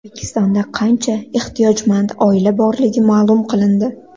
O‘zbekistonda qancha ehtiyojmand oila borligi ma’lum qilindi.